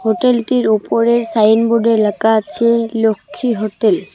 হোটেলটির ওপরে সাইন বোর্ডে লেখা আছে লক্ষ্মী হোটেল ।